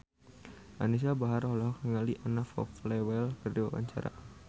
Anisa Bahar olohok ningali Anna Popplewell keur diwawancara